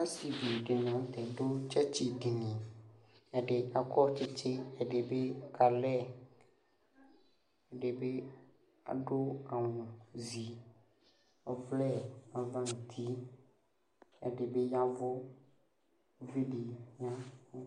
Ɛɖɩŋi la ŋʊtɛ aɖʊ tsɔtsɩ ɖɩŋɩ, ɛɖɩ taƙɔ tsɩtsɩ , ɛɖɩ ƙalɛ, ɛɖɩɓɩ aɖʊ awʊ zɩ, ɔlɛ aʋa ŋʊ ʊtɩ Ɛɖɩɓɩ ƴaʋʊ, ʊʋɩɖɩ ƴaʋʊ